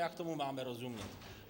Jak tomu máme rozumět?